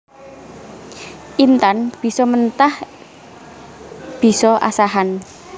Intan bisa mentah bisa asahan